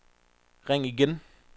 ring igen